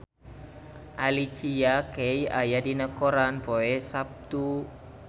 Alicia Keys aya dina koran poe Saptu